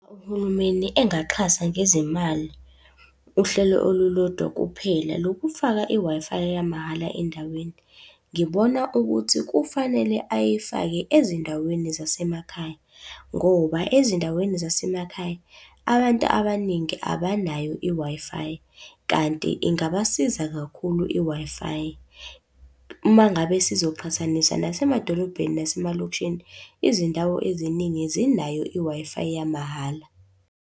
Uhulumeni engaxhasa ngezimali, uhlelo olulodwa kuphela lokufaka i-Wi-Fi yamahhala endaweni. Ngibona ukuthi kufanele ayifake ezindaweni zasemakhaya, ngoba ezindaweni zasemakhaya abantu abaningi abanayo i-Wi-Fi, kanti ingabasiza kakhulu i-Wi-Fi. Uma ngabe sizoqhathanisa nasemadolobheni, nasemalokishini, izindawo eziningi zinayo i-Wi-Fi yamahhala.